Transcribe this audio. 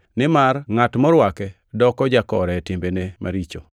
nimar ngʼat morwake doko jakore e timbene maricho.